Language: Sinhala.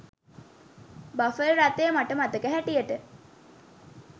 බෆල් රථය මට මතක හැටියට